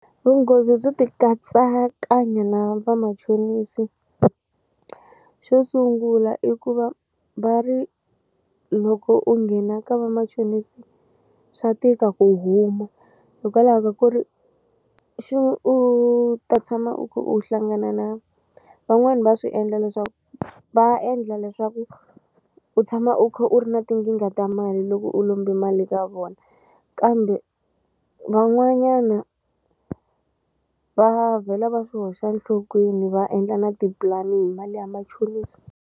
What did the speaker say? Vunghozi byo ti katsakanya na vamachonisi xo sungula i ku va va ri loko u nghena ka vamachonisi swa tika ku huma hikwalaho ka ku ri u ta tshama u kha u hlangana na van'wani va swi endla leswaku va endla leswaku u tshama u kha u ri na tinkingha ta mali loko u lombe mali ka vona kambe van'wanyana va vhela va swi hoxa enhlokweni va endla na tipulani hi mali ya machonisi.